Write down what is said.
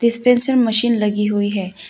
Dispenser machine लगी हुई है।